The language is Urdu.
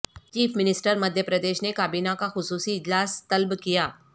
چیف منسٹر مدھیہ پردیش نے کابینہ کا خصوصی اجلاس طلب کیا